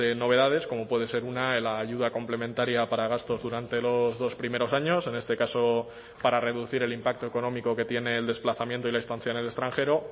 novedades como puede ser una la ayuda complementaria para gastos durante los dos primeros años en este caso para reducir el impacto económico que tiene el desplazamiento y la estancia en el extranjero